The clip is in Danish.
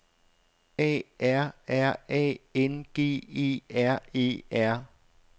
A R R A N G E R E R